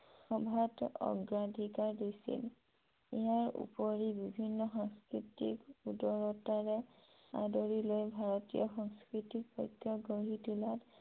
অগ্ৰাধিকাৰ দিছিল । ইয়াৰ ওপৰি বিভিন্ন সাংস্কৃতিক উদাৰতাৰে আদৰি লৈ ভাৰতীয় সংস্কৃতিক গঢ়ি তোলাত